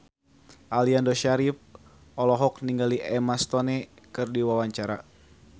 Aliando Syarif olohok ningali Emma Stone keur diwawancara